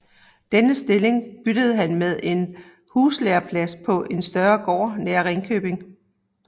Denne stilling byttede han med en huslærerplads på en større gård nær Ringkøbing